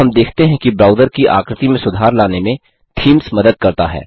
तो हम देखते हैं कि ब्राउज़र की आकृति में सुधार लाने में थीम्स मदद करता है